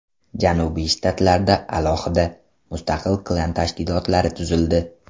Janubiy shtatlarda alohida, mustaqil klan tashkilotlari tuzildi.